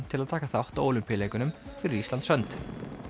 til að taka þátt á Ólympíuleikum fyrir Íslands hönd